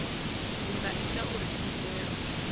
zwi nga ita uri thendelo